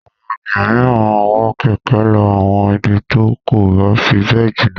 Àwọn ènìyàn mìíràn máa ń wa kẹ̀kẹ́ lọ àwọn ibi tí kò bá fi bẹ́ẹ̀ jìnà.